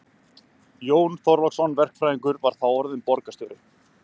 Jón Þorláksson verkfræðingur var þá orðinn borgarstjóri.